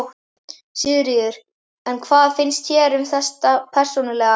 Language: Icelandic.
Sigríður: En hvað finnst þér um þetta persónulega?